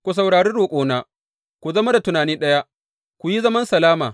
Ku saurari roƙona, ku zama da tunani ɗaya, ku yi zaman salama.